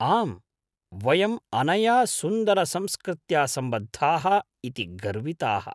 आम्, वयम् अनया सुन्दरसंस्कृत्या सम्बद्धाः इति गर्विताः।